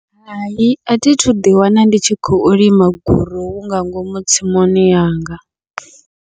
Hai athi thu ḓi wana ndi tshi khou lima gorohu nga ngomu tsimuni yanga.